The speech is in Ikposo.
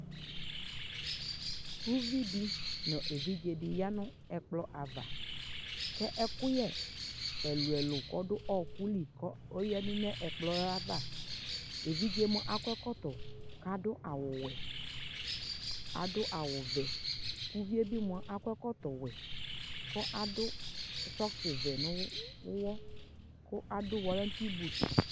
ʋvidi nʋ ɛvidzɛ di yanʋ ɛkplɔ aɣa kɛ ɛkʋyɛ ɛlʋɛlʋ kʋ ɔdʋ ɔkʋli kɔ ɔyɛdʋ nʋ ɛkplɔɛ aɣa, ɛvidzɛ mʋa akɔ ɛkɔtɔ kʋ adʋ awʋ wɛ adʋawʋ vɛ, ʋviɛ bi mʋa akɔ ɛkɔtɔ wɛ kʋ adʋ ssocks wɛ nʋ ʋwɔ kʋ adʋ wallanting booth